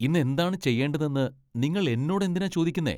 ഇന്ന് എന്താണ് ചെയ്യേണ്ടതെന്ന് നിങ്ങൾ എന്നോടെന്തിനാ ചോദിക്കുന്നെ.